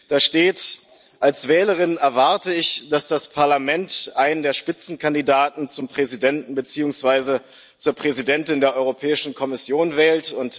Da steht Als Wählerin erwarte ich, dass das Parlament einen der Spitzenkandidaten zum Präsidenten beziehungsweise zur Präsidentin der Europäischen Kommission wählt.